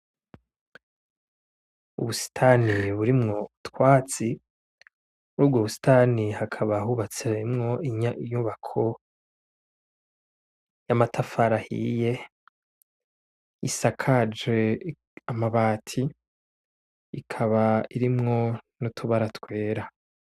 Ubusitani burimwo ubwatsi murubwo busitani hakaba harimwo inyubako y'amatafari ahiye isakajwe amabati, ikaba irimwo nutubara twera.